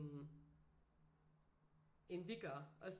End vi gør også